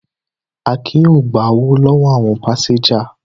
Akin yóò gbowó lọ́wọ́ àwọn pásẹ́ńjà.